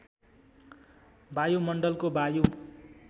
वायुमण्डलको वायु